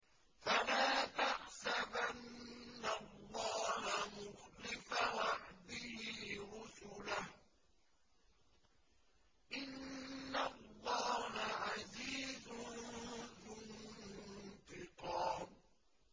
فَلَا تَحْسَبَنَّ اللَّهَ مُخْلِفَ وَعْدِهِ رُسُلَهُ ۗ إِنَّ اللَّهَ عَزِيزٌ ذُو انتِقَامٍ